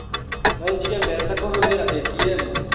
No njige mbeca kũhũthira ĩtiemu?